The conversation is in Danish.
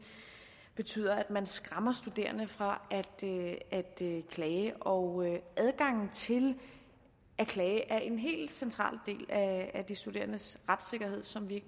betyder at man skræmmer studerende fra at klage og adgangen til at klage er en helt central del af de studerendes retssikkerhed som vi